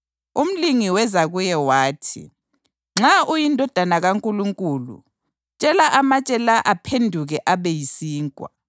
Umlingi weza kuye wathi, “Nxa uyiNdodana kaNkulunkulu tshela amatshe la aphenduke abe yisinkwa.”